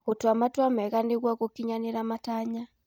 Tua matua mega nĩguo gũkinyĩra matanya.